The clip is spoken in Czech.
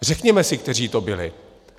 Řekněme si, kteří to byli.